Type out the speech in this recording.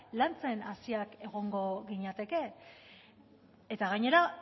lantzen hasiak egongo ginateke eta gainera